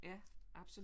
Ja absolut